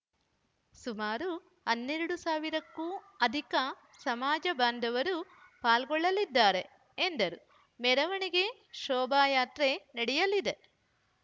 ಸುಮಾರು ಹನ್ನೆರಡು ಸಾವಿರಕ್ಕೂ ಅಧಿಕ ಸಮಾಜ ಬಾಂಧವರು ಪಾಲ್ಗೊಳ್ಳಲಿದ್ದಾರೆ ಎಂದರು ಮೆರವಣಿಗೆ ಶೋಭಾಯಾತ್ರೆ ನಡೆಯಲಿದೆ